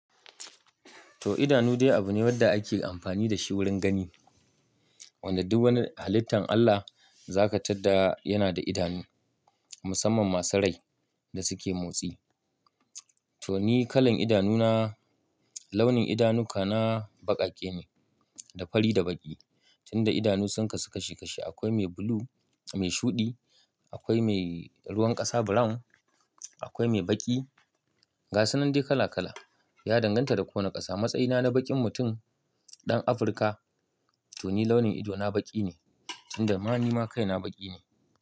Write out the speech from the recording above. To idanu dai abu ne wanda ake amfani da shi wurin gani. Wanda duk wani halittan Allah za ka tadda yana da idanu, musamman masu rai da suke motsi. To ni kalan idanu na, launin idanu ka na baƙaƙe ne, da fari da baƙi. Tunda idanu sun kasu kashi kashi akwai mai bulu, mai shuɗi, akwai mai ruwan ƙasa brown, akwai mai baƙi. Gasunan dai kala kala ya danganta da ko wane ƙasa. Matsayi na na baƙin mutum, ɗan Afrika to ni launin ido na baƙi ne tunda ma ni ma kai na baƙi ne.